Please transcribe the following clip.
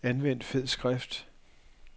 Anvend fed skrift.